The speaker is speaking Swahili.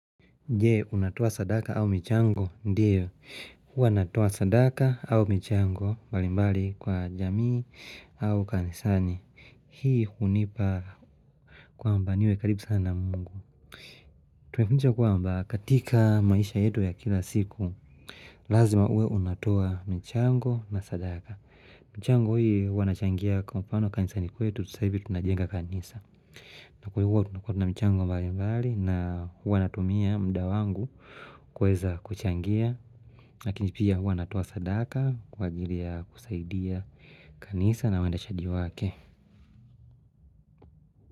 Je, unatoa sadaka au michango, ndiyo, huwa natoa sadaka au michango mbalimbali kwa jamii au kanisani, hii hunipa kwamba niwe karibu sana na mungu. Tumekuncha kwamba, katika maisha yetu ya kila siku, lazima uwe unatoa michango na sadaka. Michango hii, huwa nachangia kwa mfano kanisani kwetu, sasa hivi tunajenga kanisa. Na kwa hivo huwa tunakotu na mchango mbali mbali na huwa natumia mda wangu kuweza kuchangia Lakini pia huwa natuoa sadaka kwa ajili ya kusaidia kanisa na uendeshaji wake.